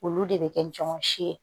Olu de bɛ kɛ jɔn si ye